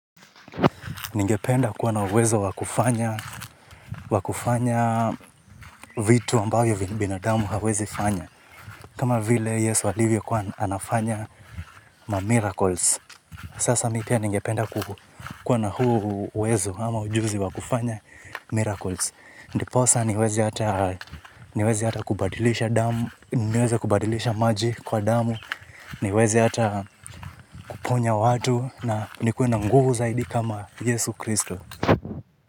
Ningependa kuwa na uwezo wakufanya vitu ambavyo bidamu hawezi fanya. Kama vile Yesu alivyo kwa nafanya ma miracles. Sasa mi pia ningependa kuwa na huu uwezo ama ujuzi wakufanya miracles. Ndiposa niwezi hata kubadilisha maji kuwa damu, niwezi hata kuponya watu na nikue na nguv zaidi kama Yesu Kristo.